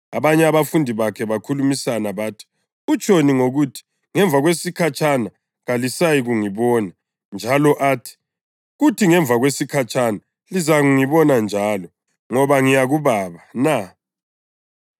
Abanye babafundi bakhe bakhulumisana bathi, “Utshoni ngokuthi, ‘Ngemva kwesikhatshana kalisayikungibona,’ njalo athi, ‘Kuthi ngemva kwesikhatshana lizangibona njalo, Ngoba ngiya kuBaba’ na?”